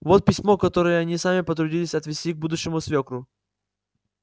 вот письмо которое сами потрудитесь отвезти к будущему свёкру